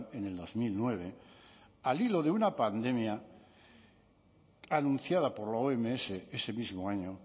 en el dos mil nueve al hilo de una pandemia anunciada por la oms ese mismo año